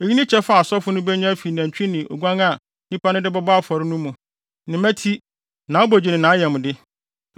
Eyi ne kyɛfa a asɔfo no benya afi nantwi ne oguan a nnipa no de bɛbɔ afɔre no mu: ne mmati, nʼabogye ne nʼayamde.